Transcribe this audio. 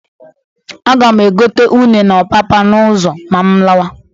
Aga m egote une na ọpapa n'ụzọ ma m lawa.